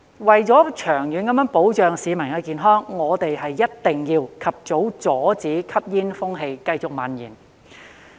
為了長遠保障巿民的健康，我們一定要及早阻止吸煙風氣繼續蔓延。